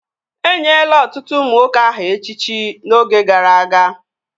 Enyela ọtụtụ ụmụ nwoke aha echichi n'oge gara aga